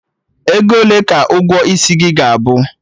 Ego ole ka ụgwọ isi gị ga-abụ?